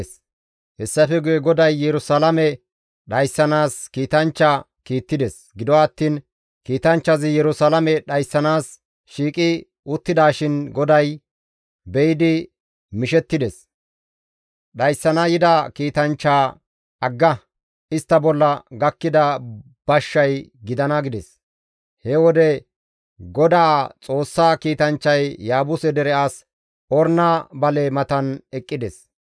Hessafe guye GODAY Yerusalaame dhayssanaas kiitanchcha kiittides; gido attiin kiitanchchazi Yerusalaame dhayssanaas shiiqi uttidaashin GODAY be7idi mishettides; dhayssana yida kiitanchchaa, «Agga! Istta bolla gakkida bashshay gidana» gides. He wode Godaa Xoossaa kiitanchchay Yaabuse dere as Orna bale matan eqqides.